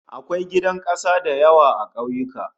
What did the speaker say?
Akwai gidan kasa da yawa a ƙauyuka